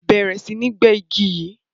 Bẹrẹ sí ní gbẹ igi yí!